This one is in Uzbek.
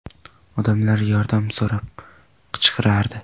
Odamlar yordam so‘rab qichqirardi.